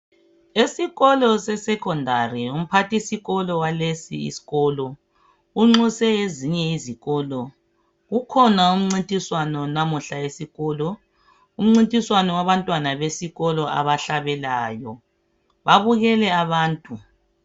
Esikolo sesecondary umphathisikolo walesi isikolo unxuse ezinye izikolo. Kukhona umcintiswano lamuhla esikolo, umcintiswano wabantwana besikolo abahlabelelayo, babukele abantu.